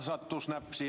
Selge.